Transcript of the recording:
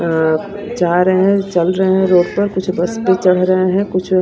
अं जा रहे हैं चल रहे हैं रोड पर कुछ बस पे चढ़ रहे हैं कुछ--